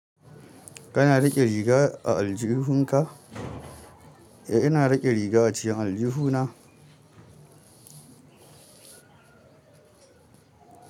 Kana riƙe riga a aljihunka? Eh, ina riƙe riga a cikin aljihuna.